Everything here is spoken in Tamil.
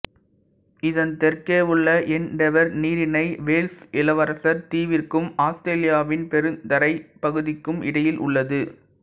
இதன் தெற்கே உள்ள எண்டெவர் நீரிணை வேல்ஸ் இளவரசர் தீவிற்கும் ஆஸ்திரேலியாவின் பெருந்தரைப் பகுதிக்கும் இடையில் உள்ளது